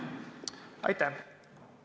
Aitäh!